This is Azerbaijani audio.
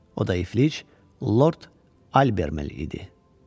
O da iflic Lord Albert idi.